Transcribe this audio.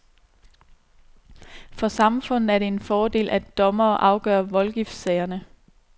For samfundet er det en fordel, at dommere afgør voldgiftssagerne.